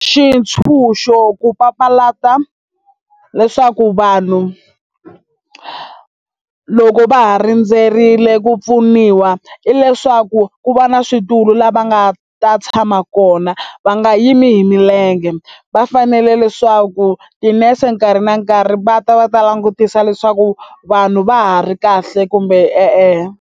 Xitshunxo ku papalata leswaku vanhu loko va ha rindzerile ku pfuniwa hileswaku ku va na switulu a nga ta tshama kona va nga yimi hi milenge va fanele leswaku tinese nkarhi na nkarhi va ta va ta langutisa leswaku vanhu va ha ri kahle kumbe e-e.